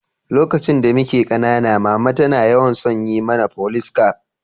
Lokaci da mike kanana, mama na tana yawan son yin mana Folice caf.